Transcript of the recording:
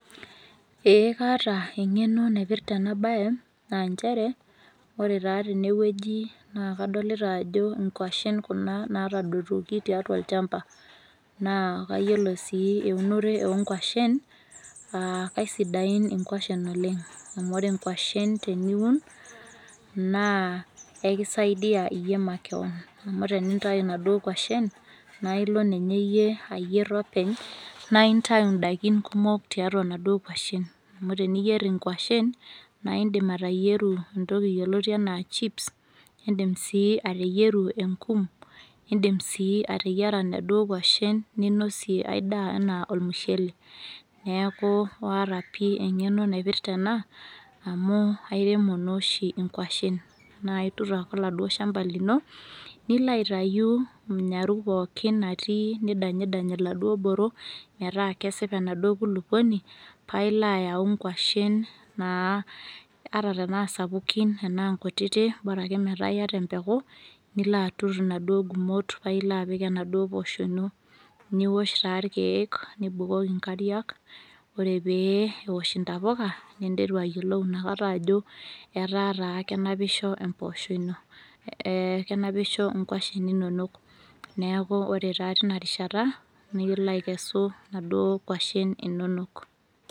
ee kaata engeno naipirta ena bae aa nchere, ore taa tene wueji naa kadolita, ajo nkwashen kuna naatadotuoki tiatua olchampa, naa kayiolo sii eunore oonkwashen, kaisidain inkwashen oleng. amu ore nkwashen teniun, naa ekisaidia iyie makewon, amu tenintayu inaduoo kwashen naa ilo ninye iyie ayier openy, naa intayu idaikin kumok tiatua inaduoo kwashen, amu tenintayu nkwashen na idim ateyieru entoki yioloti anaa chips idim sii ateyieru enkum, idim siii ateyiara inaduoo kwashen ninosie ae daa anaa, olmushele, neeku aata pii engeno naipirta ena amu airemo naa oshi nkwashen, naa itur ake oladuoo shampa lino, nilo aitayu nyaaru pookin natii, nidanyidany iladuoo boro, metaa kesipa enaduo kulupuoni paa ilo ayau nkwashen naa ata tnaa sapukin tena nkutiti, bora ake metaa iyata empeku, nilo atur inaduoo gumot paa ilo apik enaduoo pooshoi ino, niosh taa irkeek, nibukoki nkariak, ore pee eosh intapuka ninteru ayiolou inakata ajo etaa taa kenapisho empoosho ino ee kenapisho nkwashen inonok. kenapisho nkwashen inonok. neeku ore taa teina rishata naa ilo aikesu inkwashen inonok.